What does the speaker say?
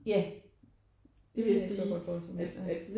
Ja det vil jeg godt kunne forestille mig